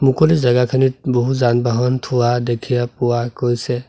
মুকলি জেগাখিনিত বহু যান-বাহন থোৱা দেখিয়া পোৱা গৈছে।